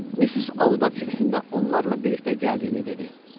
Missis Auda Fiksin də onlarla birlikdə gəldiyini dedi.